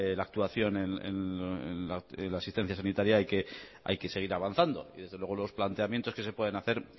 la actuación en la asistencia sanitaria hay que seguir avanzando y desde luego los planteamientos que se pueden hacer